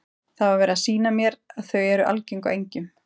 Það var verið að sýna mér að þau eru algeng á engjum.